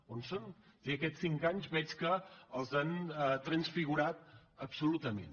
on són és a dir aquests cinc anys veig que els han transfigurat absolutament